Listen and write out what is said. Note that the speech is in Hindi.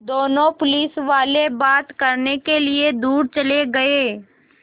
दोनों पुलिसवाले बात करने के लिए दूर चले गए